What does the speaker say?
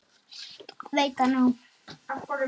Veit það núna.